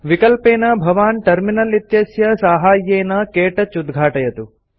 विकल्पेन भवान् टर्मिनल इत्यस्य साहाय्येन क्तौच उद्घाटयतु